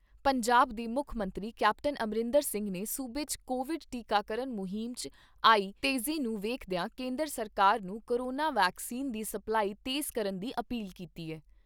ਪੰਜਾਬ ਦੇ ਮੁੱਖ ਮੰਤਰੀ ਕੈਪਟਨ ਅਮਰਿੰਦਰ ਸਿੰਘ ਨੇ ਸੂਬੇ 'ਚ ਕੋਵਿਡ ਟੀਕਾਕਰਨ ਮੁਹਿੰਮ 'ਚ ਆਈ ਤੇਜ਼ੀ ਨੂੰ ਵੇਖਦਿਆਂ ਕੇਂਦਰ ਸਰਕਾਰ ਨੂੰ ਕੋਰੋਨਾ ਵੈਕਸੀਨ ਦੀ ਸਪਲਾਈ ਤੇਜ਼ ਕਰਨ ਦੀ ਅਪੀਲ ਕੀਤੀ ਐ।